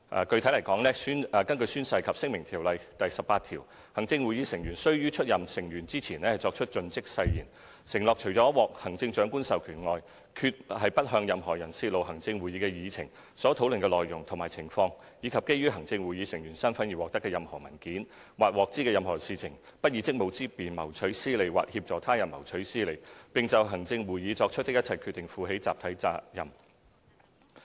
具體來說，根據《宣誓及聲明條例》第18條，行政會議成員須於出任成員前作出"盡職誓言"，承諾"除獲行政長官的授權外，決不向任何人泄露行政會議的議程、所討論的內容及情況以及基於行政會議成員身分而獲得的任何文件，或獲知的任何事情，不以職務之便謀取私利或協助他人謀取私利，並就行政會議作出的一切決定，負起集體責任"。